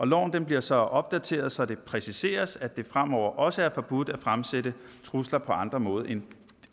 loven bliver så opdateret så det præciseres at det fremover også er forbudt at fremsætte trusler på andre måder end